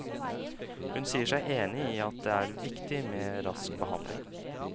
Hun sier seg enig i at det er viktig med rask behandling.